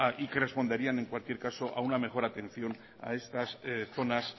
y que responderían en cualquier caso a una mejor atención a estas zonas